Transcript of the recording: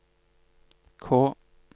K